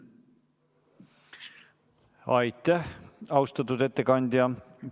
Aitäh, austatud ettekandja!